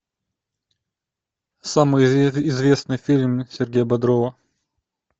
самый известный фильм сергея бодрова